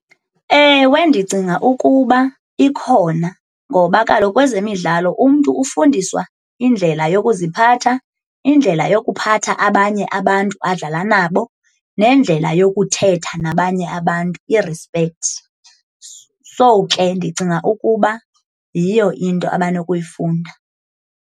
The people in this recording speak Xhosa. Ewe, ndicinga ukuba ikhona ngoba kaloku kwezemidlalo umntu ufundiswa indlela yokuziphatha, indlela yokuphatha abanye abantu adlala nabo, nendlela yokuthetha nabanye abantu irispekthi. So, ke ndicinga ukuba yiyo into abanokuyifunda.